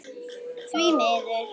Því miður.